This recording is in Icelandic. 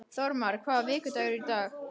Þórmar, hvaða vikudagur er í dag?